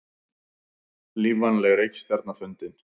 Lífvænleg reikistjarna fundin